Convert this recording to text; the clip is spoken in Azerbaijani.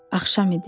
Axşam idi.